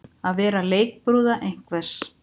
Að vera leikbrúða einhvers